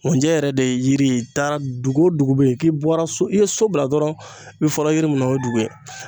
Nkunjɛ yɛrɛ de ye yiri ye i taara dugu o dugu bɛ yen k'i bɔra so i ye so bila dɔrɔn i bɛ fɔlɔ yiri minnu ye dugu ye